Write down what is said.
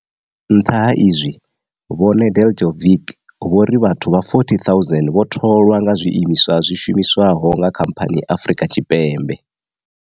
Nṱha ha izwi, vho Nedeljko vic vho ri vhathu vha 40 000 vho tholwa nga zwi imiswa zwi shumiswaho nga khamphani Afrika Tshipembe.